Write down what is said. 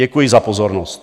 Děkuji za pozornost.